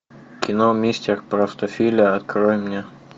кино мистер простофиля открой мне